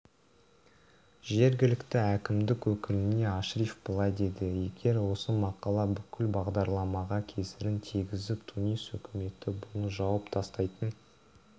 жергілікті әкімдік өкіліне ашриф былай деді егер осы мақала бүкіл бағдарламаға кесірін тигізіп тунис үкіметі бұны жауып тастайтын